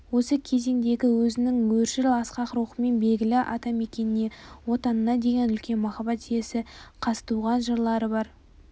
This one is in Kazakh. осы кезеңдегі өзінің өршіл асқақ рухымен белгілі атамекеніне отанына деген үлкен махаббат иесі қазтуған жырлары бар